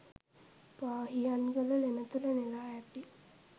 පාහියන්ගල ලෙන තුළ නෙළා ඇති